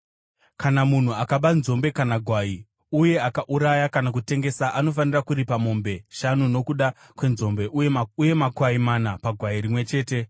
“Kana munhu akaba nzombe kana gwai uye akauraya kana kutengesa anofanira kuripa mombe shanu nokuda kwenzombe uye makwai mana pagwai rimwe chete.